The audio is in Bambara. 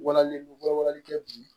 Walali walawalali kɛ bi